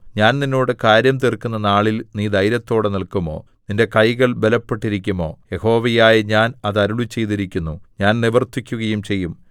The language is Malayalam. ഞാൻ നിന്നോട് കാര്യം തീർക്കുന്ന നാളിൽ നീ ധൈര്യത്തോടെ നില്‍ക്കുമോ നിന്റെ കൈകൾ ബലപ്പെട്ടിരിക്കുമോ യഹോവയായ ഞാൻ അത് അരുളിച്ചെയ്തിരിക്കുന്നു ഞാൻ നിവർത്തിക്കുകയും ചെയ്യും